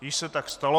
Již se tak stalo.